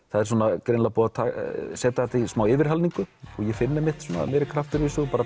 það er greinilega búið að setja þetta í smá yfirhalningu ég finn meiri kraft